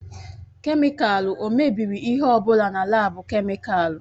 Kemịkalụ o mebiri ihe ọ bụla na laabu kemịkalụ?